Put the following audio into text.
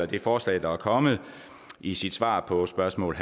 det forslag der er kommet i sit svar på spørgsmål